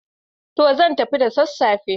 To! Zan tafi da sassafe.